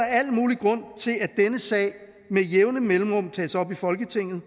al mulig grund til at denne sag med jævne mellemrum tages op i folketinget